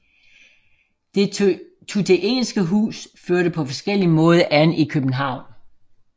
Det tuteinske hus førte på forskellig måde an i København